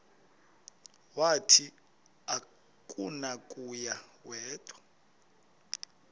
wathi akunakuya wedw